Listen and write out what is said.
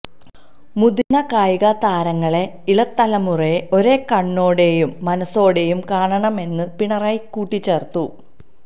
മുതിര്ന്ന കായിക താരങ്ങള് ഇളംതലമുറയെ ഒരേ കണ്ണോടെയും മനസ്സോടെയും കാണണമെന്നും പിണറായി കൂട്ടിച്ചേര്ത്തു